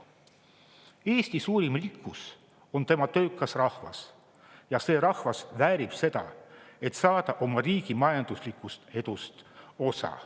Eesti suurim rikkus on tema töökas rahvas ja see rahvas väärib seda, et saada oma riigi majanduslikust edust osa.